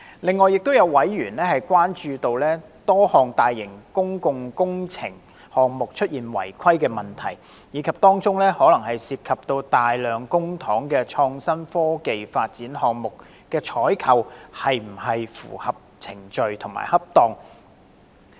另外，亦有委員關注到多項大型公共工程項目出現違規問題，以及可能涉及大量公帑的創新及科技發展項目的採購程序是否符合規定和恰當。